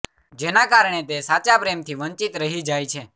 જેના કારણે તે સાચા પ્રેમથી વંચિત રહી જાય છે